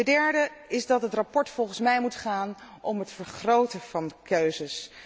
De derde is dat het verslag volgens mij moet gaan om het vergroten van keuzes.